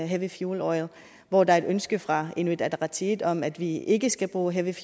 heavy fuel oil hvor der er et ønske fra inuit ataqatigiit om at vi ikke skal bruge heavy